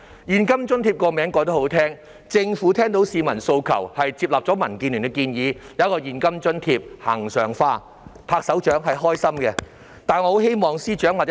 "現金津貼"這個名字很好聽，政府聽到市民訴求，接納了民建聯的建議，提供現金津貼，並將之恆常化。